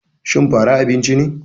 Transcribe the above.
Shin fara abinci ne.